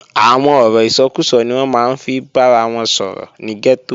Àwọn ọ̀rọ̀ ìsọkúsọ ni wọ́n máa ń fi bára wọn sọ̀rọ̀ ní gẹ́tò